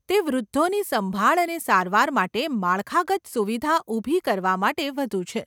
તે વૃદ્ધોની સંભાળ અને સારવાર માટે માળખાગત સુવિધા ઊભી કરવા માટે વધુ છે.